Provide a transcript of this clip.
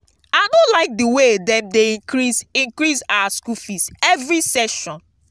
i no like the way dem dey increase increase our school fees every session